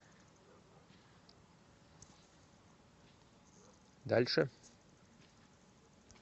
дальше